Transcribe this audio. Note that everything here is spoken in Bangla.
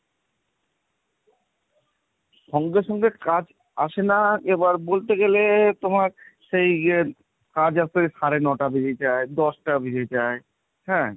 এবার সঙ্গে সঙ্গে কাজ আসে না এবার বলতে গেলে তোমার সেই ইয়ে কাজ আসলে সাড়ে ন'টা বেজে যায় দশটা বেজে যায় হ্যাঁ,